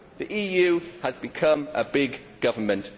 The EU has become a big government.